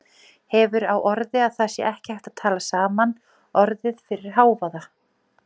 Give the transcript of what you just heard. Hefur á orði að það sé ekki hægt að tala saman orðið fyrir hávaða.